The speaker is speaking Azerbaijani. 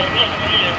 Mənə bax.